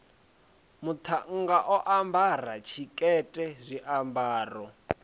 muṱhannga o ambara tshikete zwiambaro